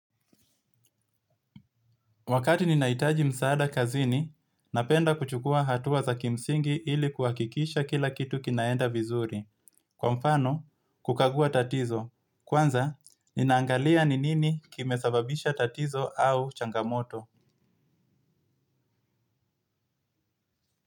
Wakati ninaitaji msaada kazini, napenda kuchukua hatua za kimsingi ili kuakikisha kila kitu kinaenda vizuri. Kwa mfano, kukagua tatizo. Kwanza, ninaangalia ni nini kimesababisha tatizo au changamoto.